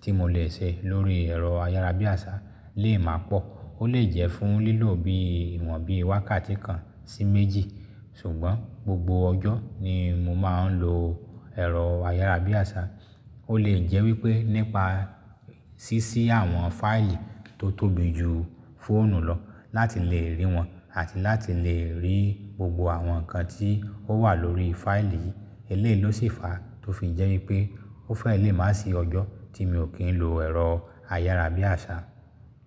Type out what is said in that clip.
tí mo lè ṣe lórí ẹ̀rọ ayárabíàṣá lè má pọ̀. Ó lè jẹ́ fún lílò bí ìwọ̀n bíi wákàtí kan sí méjì. Ṣùgbọ́n gbogbo ọjọ́ ni mo máa ń lo ẹ̀rọ ayárabíàṣá. Ó lè jẹ́ wípé nípa ṣíṣí àwọn fáìlì tó tóbi jù fóònù lọ láti lè rí wọn àti láti lè rí gbogbo àwọn nǹkan tí ó wà lórí fáìlì yìí. Eléyìí ló sì fa tó fi jẹ́ wípé ó fẹ́ lè má sì ọjọ́ tí mi ò kí ń lo ẹ̀rọ ayárabíàṣá.